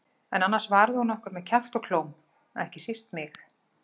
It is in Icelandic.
En annars varði hún okkur með kjafti og klóm, ekki síst mig.